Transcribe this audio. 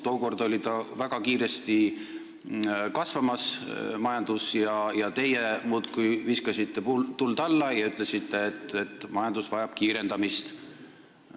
Tookord oli majandus väga kiiresti kasvamas, aga teie muudkui viskasite tuld alla ja ütlesite, et see vajab kiirendamist.